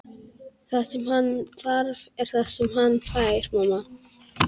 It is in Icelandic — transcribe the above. Það sem hann þarf er það sem hann fær, mamma.